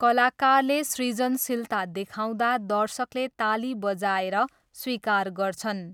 कलाकारले सृजनशीलता देखाउँदा दर्शकले ताली बजाएर स्वीकार गर्छन्।